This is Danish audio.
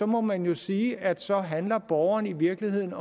må man jo sige at så handler borgerne i virkeligheden